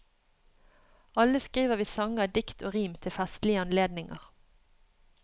Alle skriver vi sanger, dikt og rim til festlige anledninger.